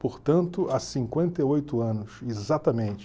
Portanto, há cinquenta e oito anos, exatamente.